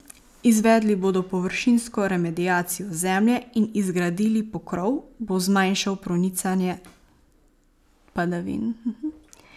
Izvedli bodo površinsko remediacijo zemlje in izgradili pokrov, bo zmanjšal pronicanje padavin.